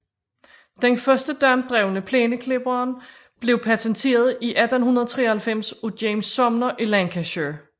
Den første dampdrevne plæneklipper blev patenteret i 1893 af James Sumner i Lancashire